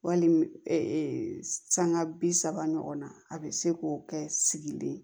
Wali sanga bi saba ɲɔgɔn na a bɛ se k'o kɛ sigilen